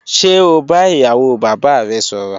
Ṣe o ba iyawo baba rẹ sọrọ?